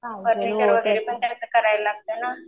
Furniture वगैरे पण कायतर करायला लागतंय ना.